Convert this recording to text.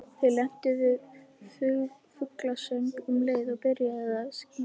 Þau lentu við fuglasöng um leið og byrjaði að skíma.